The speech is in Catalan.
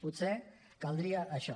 potser caldria això